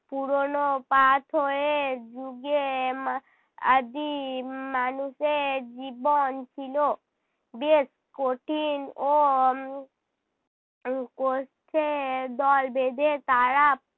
পুরোনো পাথরের যুগে মা~ আদিম মানুষের জীবন ছিল বেশ কঠিন ও উম দল বেঁধে তারা